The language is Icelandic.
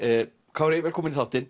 Kári velkominn í þáttinn